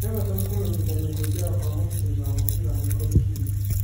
Everton kũmenyithania kũingĩra kwa mũgitĩri wa mũbira Michael Keane